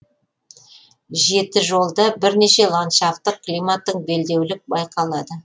жетіжолда бірнеше ландшафттық климаттық белдеулік байқалады